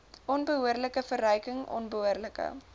onbehoorlike verryking onbehoorlike